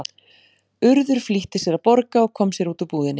Urður flýtti sér að borga og kom sér út úr búðinni.